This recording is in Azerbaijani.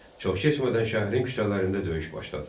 Çox keçmədən şəhərin küçələrində döyüş başladı.